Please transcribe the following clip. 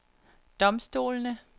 domstolene